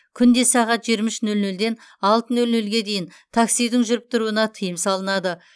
күнде сағат жиырма үш нөл нөлден алты нөл нөлге дейін таксидің жүріп тұруына тыйым салынады